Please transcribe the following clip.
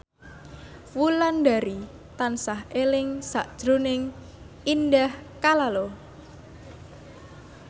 Wulandari tansah eling sakjroning Indah Kalalo